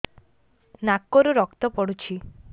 ନାକରୁ ରକ୍ତ ପଡୁଛି